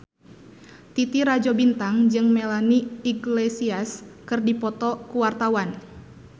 Titi Rajo Bintang jeung Melanie Iglesias keur dipoto ku wartawan